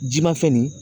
Ji ma fɛn nin ye